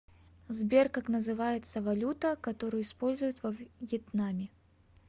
сбер как называется валюта которую используют во вьетнаме